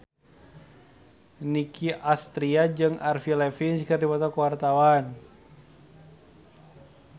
Nicky Astria jeung Avril Lavigne keur dipoto ku wartawan